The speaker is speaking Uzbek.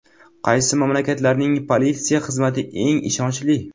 Qaysi mamlakatlarning politsiya xizmati eng ishonchli?